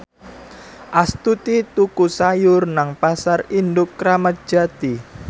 Astuti tuku sayur nang Pasar Induk Kramat Jati